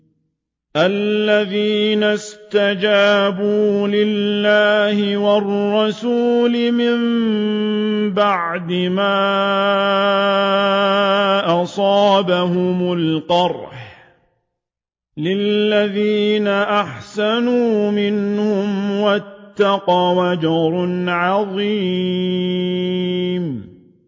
الَّذِينَ اسْتَجَابُوا لِلَّهِ وَالرَّسُولِ مِن بَعْدِ مَا أَصَابَهُمُ الْقَرْحُ ۚ لِلَّذِينَ أَحْسَنُوا مِنْهُمْ وَاتَّقَوْا أَجْرٌ عَظِيمٌ